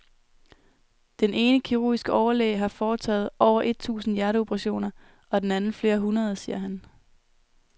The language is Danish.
Den ene kirurgiske overlæge har foretaget over et tusind hjerteoperationer og den anden flere hundrede, siger han.